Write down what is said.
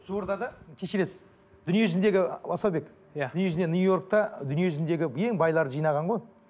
жуырда да кешіресіз дүние жүзіндегі асаубек иә дүниежүзінде нью йоркте дүние жүзіндегі ең байларды жинаған ғой